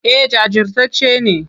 Eh jajirtacce ne.